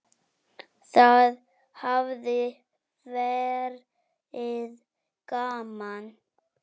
Það hafi verið gaman.